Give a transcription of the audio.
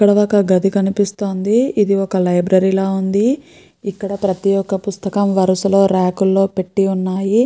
ఇక్కడ ఒక గది కనిపిస్తోంది. ఇది ఒక లైబ్రరీ లా ఉంది. ఇక్కడ ప్రతి ఒక్క పుస్తకం వరసగా రాక్ లో పెట్టి ఉన్నాయి.